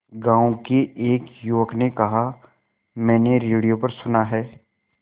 गांव के एक युवक ने कहा मैंने रेडियो पर सुना है